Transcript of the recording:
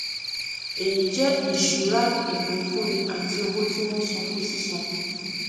èyí jẹ ìṣura ìpínfúnni àti owó tí wọn san fún sísan